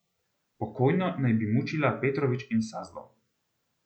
Pokojno naj bi mučila Petrović in Sazdov.